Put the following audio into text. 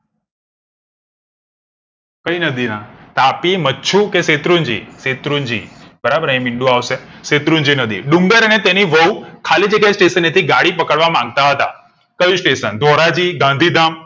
કઈ નદીના તાપી મચ્છુ કે શેત્રુંજી શેત્રુંજી બરાબર શેત્રુંજી નદી ડુંગર અને તેની વહુ ખાલી જગ્યા station નેથી ગાડી પકડવા માંગતા હતા ક્યુ station ધોરાજી ગાંધીધામ